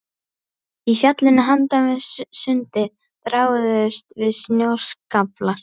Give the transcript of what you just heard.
Í fjallinu handan við sundið þráuðust við snjóskaflar.